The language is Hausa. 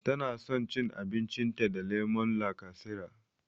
Tana san cin abincin ta da lemon lakasera